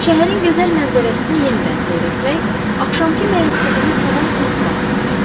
Şəhərin gözəl mənzərəsini yenidən seyr etmək, axşamkı məyusluğunu tamam unutmaq istəyirdi.